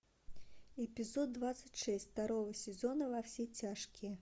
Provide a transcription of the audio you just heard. эпизод двадцать шесть второго сезона во все тяжкие